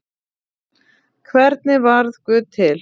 Hvernig varð guð til?